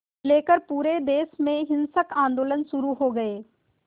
लेकर पूरे देश में हिंसक आंदोलन शुरू हो गए